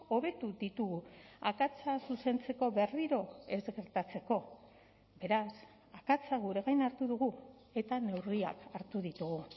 hobetu ditugu akatsa zuzentzeko berriro ez gertatzeko beraz akatsa gure gain hartu dugu eta neurriak hartu ditugu